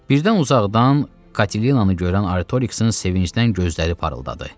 Birdən uzaqdan Katinanı görən Artoriksin sevincdən gözləri parıldadı.